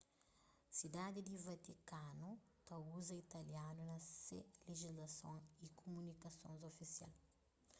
sidadi di vatikanu ta uza italianu na se lejislason y kumunikasons ofisial